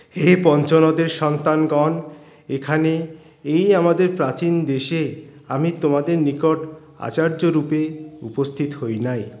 হে পঞ্চরথের সন্তানগণ এখানে এই আমাদের প্রাচীন দেশে আমি তোমাদের নিকট আচার্য্য রূপে উপস্থিত হইনাই